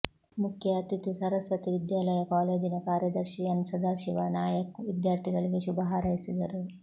ಮುಖ್ಯ ಅತಿಥಿ ಸರಸ್ವತಿ ವಿದ್ಯಾಲಯ ಕಾಲೇಜಿನ ಕಾರ್ಯದರ್ಶಿ ಎನ್ ಸದಾಶಿವ ನಾಯಕ್ ವಿದ್ಯಾರ್ಥಿಗಳಿಗೆ ಶುಭ ಹಾರೈಸಿದರು